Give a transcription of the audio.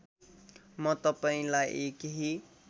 म तपाईँलाई केही